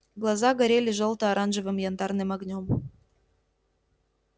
глаза горели жёлто-оранжевым янтарным огнём